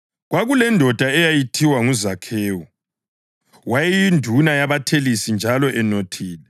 Kwakulendoda eyayithiwa nguZakhewu; wayeyinduna yabathelisi njalo enothile.